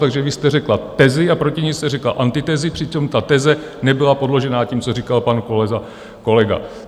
Takže vy jste řekla tezi a proti ní jste řekla antitezi, přitom ta teze nebyla podložena tím, co říkal pan kolega.